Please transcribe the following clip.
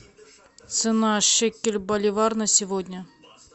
цена шекель боливар на сегодня